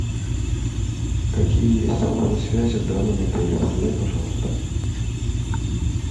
какие есть салоны связи в данном отеле узнай пожалуйста